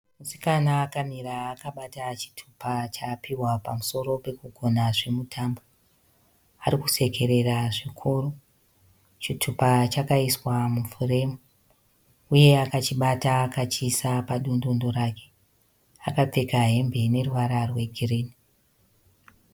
Musikana akamira akabata chitupa chaapihwa pamusoro pekugona zvemutambo arikusekerera zvikuru. Chitupa chakaiswa mufuremu uye akachibata akachiisa padundundu rake akapfeka hembe ine ruvara rwegirinhi.